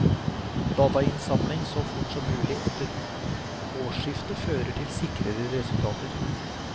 Datainnsamling så fort som mulig etter årsskiftet fører til sikrere resultater.